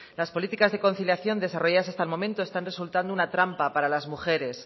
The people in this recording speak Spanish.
las políticas de conciliación desarrolladas hasta el momentos están resultando una trampa para las mujeres